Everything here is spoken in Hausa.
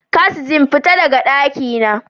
Kaszim, fita daga dakina